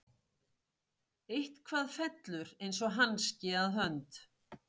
Eitthvað fellur eins og hanski að hönd